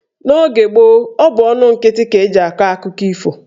N'oge gboo, ọ bụ ọnụ nkịtị ka eji akọ akụkọ ifo.